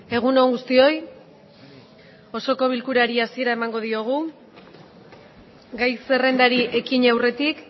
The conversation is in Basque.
egun on guztioi osoko bilkurari hasiera emango diogu gai zerrendari ekin aurretik